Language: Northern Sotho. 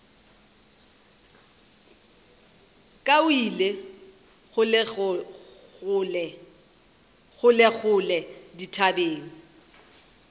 ka o ile kgolekgole dithabeng